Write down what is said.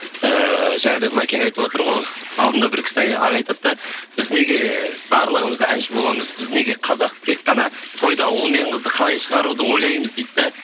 ііі жаңа да мәкең айтыватыр ғой алдында бір кісі аға айтады да біз неге барлығымыз әнші боламыз біз неге қазақ тек қана тойда ұл мен қызды қалай шығаруды ойлаймыз дейді де